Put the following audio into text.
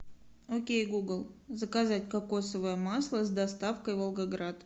окей гугл заказать кокосовое масло с доставкой волгоград